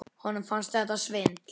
Honum fannst þetta svindl.